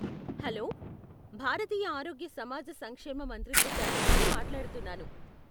Hello, భారతీయ ఆరోగ్య సమాజ సంక్షేమ మంత్రిత్వ శాఖ నుండి మాట్లాడుతున్నాను.